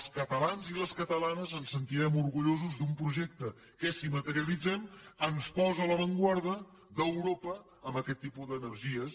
els catalans i les catalanes ens sentirem orgullosos d’un projecte que si materialitzem ens posa a l’avantguarda d’europa en aquest tipus d’energies